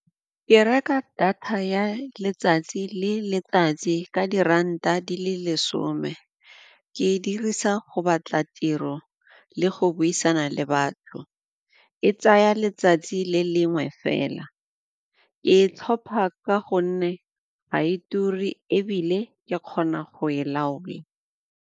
Ke reka data ya letsatsi le letsatsi ka diranta di le lesome, ke e dirisa go batla tiro le go buisana le batho, e tsaya letsatsi le lengwe fela, ke e tlhopha ka gonne ga e ture ebile ke kgona go e laola.